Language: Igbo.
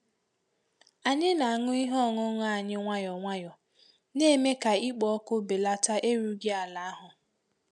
Anyị na-aṅụ ihe ọṅụṅụ anyị nwayọọ nwayọọ, na-eme ka ikpo ọkụ belata erughi ala ahụ.